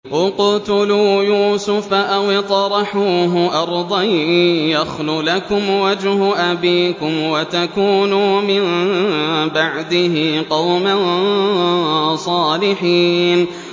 اقْتُلُوا يُوسُفَ أَوِ اطْرَحُوهُ أَرْضًا يَخْلُ لَكُمْ وَجْهُ أَبِيكُمْ وَتَكُونُوا مِن بَعْدِهِ قَوْمًا صَالِحِينَ